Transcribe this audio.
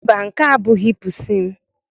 Mba, nke a abụghị pusi m.